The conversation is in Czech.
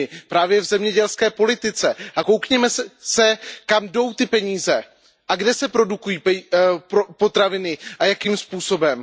Právě v zemědělské politice a podívejme se, kam jdou ty peníze a kde se produkují potraviny a jakým způsobem.